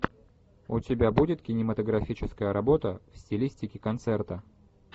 у тебя будет кинематографическая работа в стилистике концерта